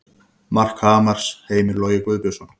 Mark Hamars: Heimir Logi Guðbjörnsson